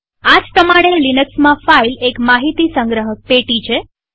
આ જ પ્રમાણે લિનક્સમાં ફાઈલ એક માહિતી સંગ્રહક પેટી છે